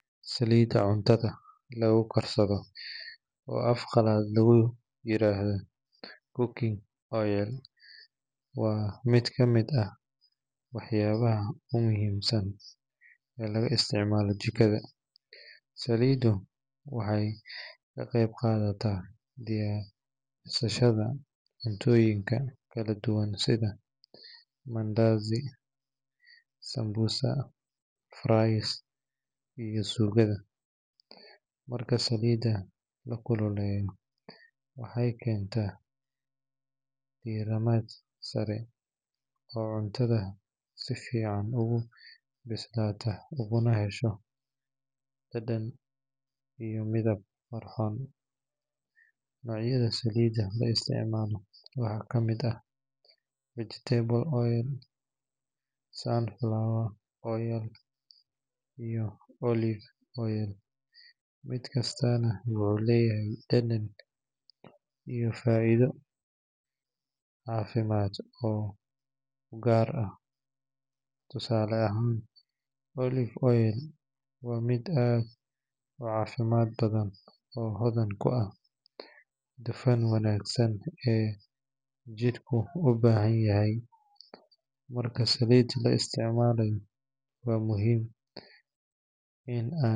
Saliida cuntadha lagu karsadho oo af qalaad lagu yiro cooking oil waa miid kamiid ah wax yabaha aad u muhiim san oo laga isticmalo jikaada, saliidu waxee ka qeyb qadataa diyarintu cuntdha kala duwan sitha mandasi sanbusa rice iyo sugaada, marka saliida lakululeyo waxee kenta diramaad sare cuntadha si fican ogu bislato, dadan iyo midab qurxon nocyaada saliid la isticmalo waxaa kamiid ah vegetable oil sunflower oil iyo olive oil miid kastana wuxuu leyahay dadan iyo faidho cafimaad gar ah tusale ah olive oil waa miid aad u wanagsan oo hodan ku ah dufan wanagsan ee jirku u bahan yahay marka saliid laisticmalayo waa muhiim In aad.